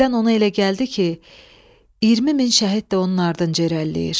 Birdən ona elə gəldi ki, 20 min şəhid də onun ardınca irəliləyir.